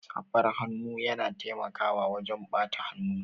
Safar hannu yana taimakawa wajan ɓata hannu